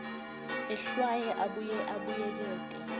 ehlwaye abuye abuyekete